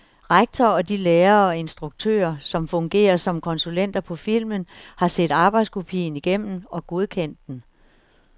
Rektor og de lærere og instruktører, der fungerer som konsulenter på filmen, har set arbejdskopien igennem og godkendt den.